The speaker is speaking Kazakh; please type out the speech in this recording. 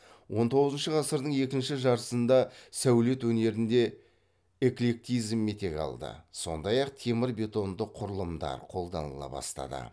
он тоғызыншы ғасырдың екінші жартысында сәулет өнерінде эклектизм етек алды сондай ақ темір бетонды құрылымдар қолданыла бастады